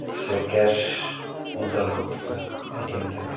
উম সে cash withdrawal করতেসে ATM থেকে।